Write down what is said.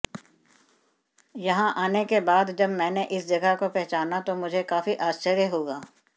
यहां आने के बाद जब मैंने इस जगह को पहचाना तो मुझे काफी आश्चर्य हुआ